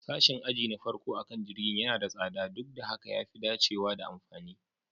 Sashin aji na farko akan jirgin yana da tsada, duk da haka ya fi dacewa da amfani